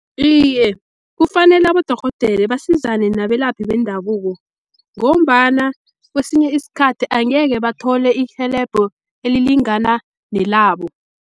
Iye, kufanele abodorhodere basizane nabelaphi bendabuko, ngombana kwesinye isikhathi angeke bathole irhelebho elilingana nelabo.